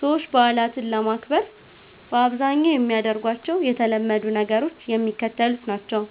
ሰዎች በዓላትን ለማክበር በአብዛኛው የሚያደርጓቸው የተለመዱ ነገሮች የሚከተሉት ናቸው፦